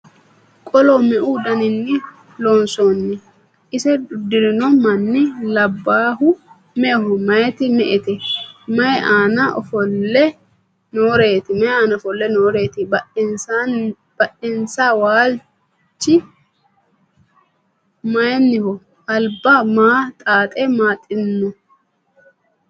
Qolo meu daniinni loonsoonni? Ise udirinno manni labaayihu me'eho? Mayiitti me'ette? Mayii aanna ofolle nooreetti? Badhiidinsa waalichi mayiinnoho? Alibba maa xaaxe maaxxinno?